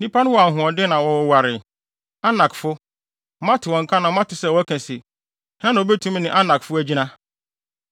Nnipa no wɔ ahoɔden na wɔwoware; Anakfo! Moate wɔn nka na moate sɛ wɔka se, “Hena na obetumi ne Anakfo agyina?”